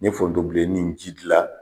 N ye forontobilen ni ji gilan